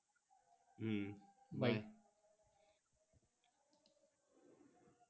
hmm by